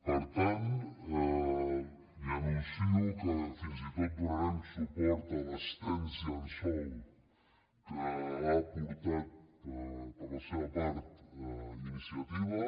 per tant li anuncio que fins i tot donarem suport a l’extens llençol que ha aportat per la seva part iniciativa